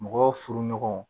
Mɔgɔ furu ɲɔgɔnw